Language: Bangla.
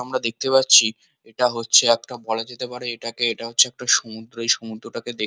আমরা দেখতে পাচ্ছি এটা হচ্ছে একটা বলা যেতে পারে এটা কে এটা হচ্ছে সমুদ্র এই সমুদ্রটাকে দেখ।